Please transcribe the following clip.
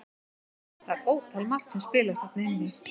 Það er ótal margt sem spilar þarna inn í.